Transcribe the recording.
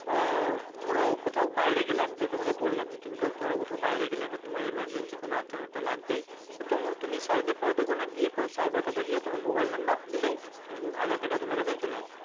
ধরো কোথাও বাইরে গেলে আমি তো তোমাকে বললাম যে তুমি ধরো কোথাও বাইরে গেলে এবার তোমায় emergency কোন aadhaar card টা লাগবেই তো তুমি side এ ফাইডে কোথাও গিয়ে cyber cafe তোমার mobile number দিলেই aadhaar card টা তোমার কাছে চলে আসবে।